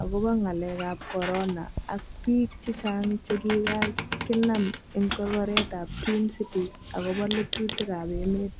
akopo ngalek ap Corona ak pik chechang che kiakenam in korokoret ap Twin Cities akopo lelutik ap emet.